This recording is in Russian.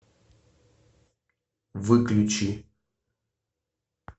выключи